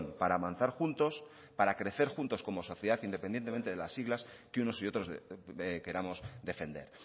para avanzar juntos para crecer juntos como sociedad independientemente de las siglas que unos y otros queramos defender